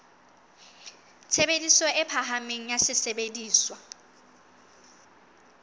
tshebediso e phahameng ya sesebediswa